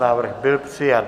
Návrh byl přijat.